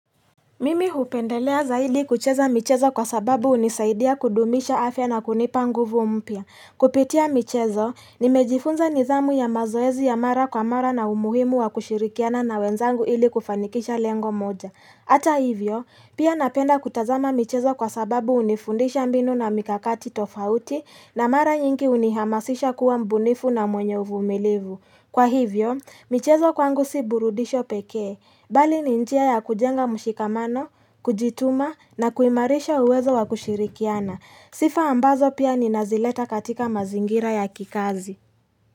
Mimi hupendelea zaidi kucheza michezo kwa sababu hunisaidia kudumisha afya na kunipa nguvu mpya. Kupitia michezo, nimejifunza nidhamu ya mazoezi ya mara kwa mara na umuhimu wa kushirikiana na wenzangu ili kufanikisha lengo moja. Ata hivyo, pia napenda kutazama michezo kwa sababu hunifundisha mbinu na mikakati tofauti na mara nyingi hunihamasisha kuwa mbunifu na mwenye uvumilivu. Kwa hivyo, michezo kwangu si burudisho pekee, bali ni njia ya kujenga mushikamano, kujituma na kuimarisha uwezo wa kushirikiana. Sifa ambazo pia ninazileta katika mazingira ya kikazi.